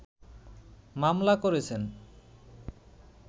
মামলা করেছেন